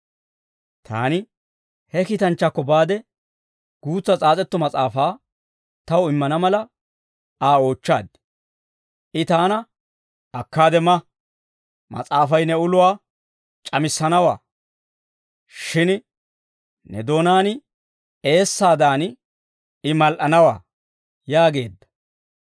Taani he kiitanchchaakko baade, guutsa s'aas'etto mas'aafaa taw immana mala, Aa oochchaad. I taana, «Akkaade ma; mas'aafay ne uluwaa c'amissanawaa; shin ne doonaan eessaadan, I mal"anawaa» yaageedda.